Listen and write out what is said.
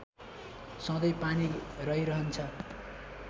सधैँ पानी रहिरहन्छ